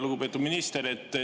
Lugupeetud minister!